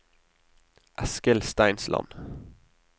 Eskil Steinsland